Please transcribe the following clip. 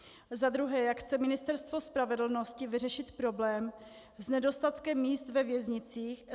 Za druhé, jak chce Ministerstvo spravedlnosti vyřešit problém s nedostatkem míst ve věznicích?